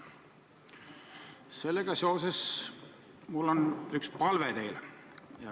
Sellega seoses on mul teile üks palve.